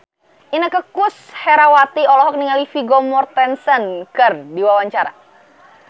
Inneke Koesherawati olohok ningali Vigo Mortensen keur diwawancara